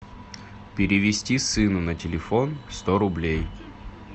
перевести сыну на телефон сто рублей